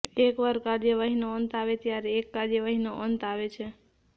એકવાર કાર્યવાહીનો અંત આવે ત્યારે એક કાર્યવાહીનો અંત આવે છે